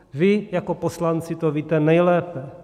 Vy jako poslanci to víte nejlépe.